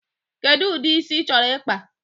Kedụ ụdị isi ị chọrọ ịkpa?